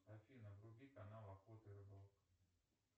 афина вруби канал охота и рыбалка